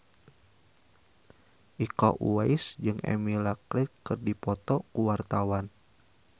Iko Uwais jeung Emilia Clarke keur dipoto ku wartawan